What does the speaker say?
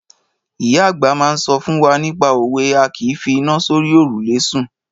Ìyá àgbà máa ń sọ fún wa nípa òwe A kìí fi iná sórí òrùlé sùn.